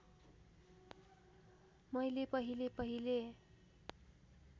मैले पहिले पहिले